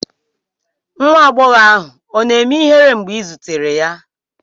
Nwa agbọghọ ahụ ọ̀ na-eme ihere mgbe ị zutere ya?